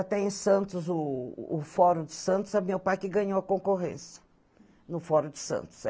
Até em Santos, o o Foro de Santos, é meu pai que ganhou a concorrência no Foro de Santos.